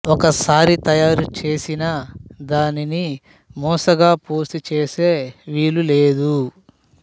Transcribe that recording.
ఒకసారి తయారు చేసిన దానిని మూసగా పోసి చేసే వీలులేదు